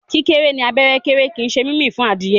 kíkéré ní abẹ́ kéré kín ṣe mímí fún Adìyẹ.